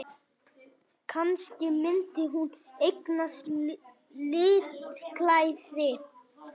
Kannski myndi hún eignast litklæði!